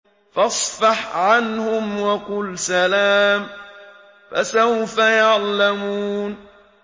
فَاصْفَحْ عَنْهُمْ وَقُلْ سَلَامٌ ۚ فَسَوْفَ يَعْلَمُونَ